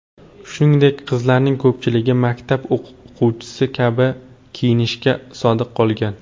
Shuningdek, qizlarning ko‘pchiligi maktab o‘quvchisi kabi kiyinishga sodiq qolgan.